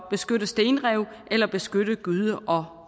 beskytte stenrev eller beskytte gyde og